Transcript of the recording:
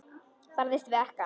Barðist við ekkann.